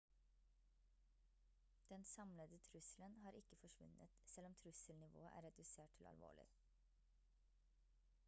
den samlede trusselen har ikke forsvunnet selv om trusselnivået er redusert til alvorlig»